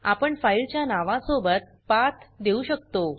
आपण फाइल च्या नावा सोबत पाथ देऊ शकतो